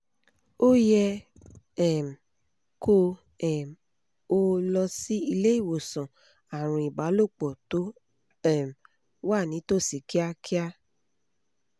o yẹ um kó um o lọ sí ilé ìwòsàn àrùn ìbálòpọ̀ tó um wà nítòsí kíákíá